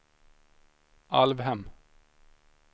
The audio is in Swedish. Alvhem